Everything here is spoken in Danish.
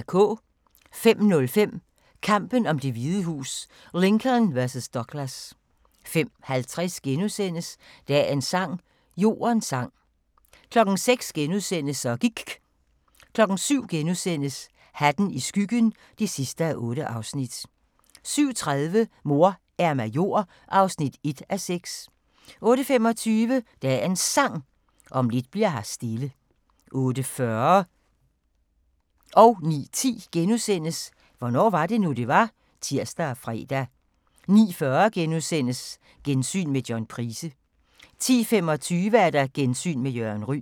05:05: Kampen om Det Hvide Hus: Lincoln vs. Douglas 05:50: Dagens sang: Jordens sang * 06:00: Så gIKK' * 07:00: Hatten i skyggen (8:8)* 07:30: Mor er major (1:6) 08:25: Dagens Sang: Om lidt bli'r her stille 08:40: Hvornår var det nu, det var? *(tir og fre) 09:10: Hvornår var det nu, det var? *(tir og fre) 09:40: Gensyn med John Price * 10:25: Gensyn med Jørgen Ryg